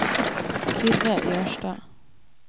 Kyrre Jørstad